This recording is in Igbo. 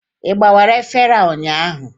Ị gbawara efere a ụnyaahụ?